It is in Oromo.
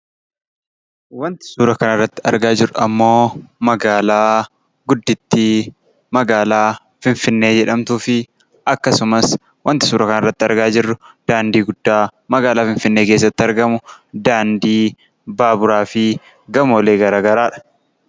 Wanti suuraa kanarratti argaa jirrummoo magaalaa guddittii magaalaa Finfinnee jedhamtuu fi akkasumas wanti suuraa kanatti argaa jirru daandii guddaa Finfinnee keessatti argamu daandii baaburaa fi gamoolee garaagaraadha.